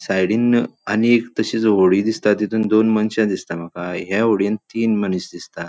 साइडीन आनियेक तशीस होडी दिसता. तितुन दोन मनशा दिसता मका या होडीन तीन मनीस दिसता.